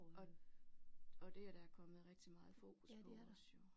Og og det er der kommet rigtig meget fokus på også jo